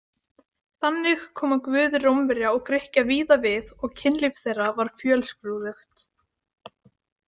Þannig koma guðir Rómverja og Grikkja víða við og kynlíf þeirra var fjölskrúðugt.